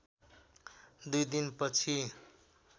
दुई दिनपछि